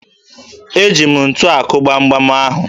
Eji m ntu akụ gbamgbam ahụ